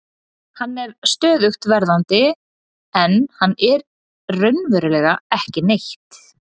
Hann er stöðugt verðandi en hann er raunverulega ekki neitt.